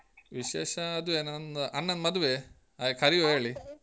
ವಿಶೇಷ ಅದುವೆ ನಂದ್ ಅಣ್ಣನ್ ಮದುವೆ ಹಾಗೆ ಕರೀವಾ ಹೇಳಿ.